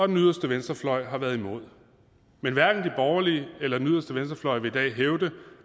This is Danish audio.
den yderste venstrefløj har været imod men hverken de borgerlige eller den yderste venstrefløj vil i dag hævde